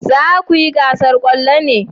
Za ku yi gasar kwallo ne?